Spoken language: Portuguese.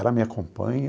Ela me acompanha.